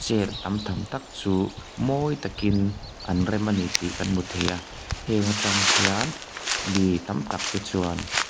chair tam tham tak chu mawi takin an rem ani tih kan hmu thei a heng atang hian mi tam tak te chuan --